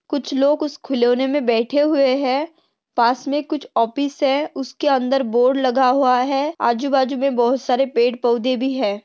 कुछ लोग उस खिलौने मे बैठे हुए है। पास मे कुछ ऑफिस है उसके अंदर बोर्ड लगा हुआ है। आजू-बाजू मे बहुत सारे पेड़-पौधे भी है।